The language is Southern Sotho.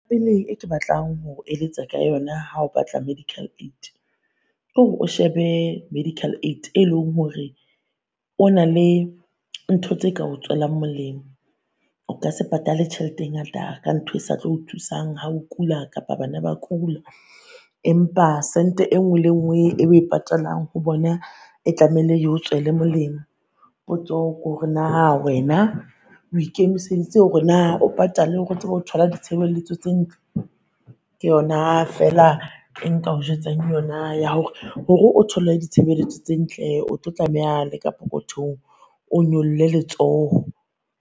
E ke batlang ho eletsa ka yona ha o batla, medical aid kore o shebe medical aid e leng hore ba na le ntho tse ka o tswelang molemo. O ka se patale tjhelete e ngata ka ntho e sa tlo o thusang ho kula kapa bana ba kula. Empa sente e nngwe le e nngwe e o e patalang ho bona, e tlamehile e o tshwele molemo. Potso kore naa wena o ikemiseditse hore naa o patale hore o tsebe o thola ditshebeletso tse ntle? Ke yona feela e nka o jwetsang yona ya hore, hore o thole ditshebeletso tse ntle o tlo tlameha le ka pokothong o nyolle letsoho.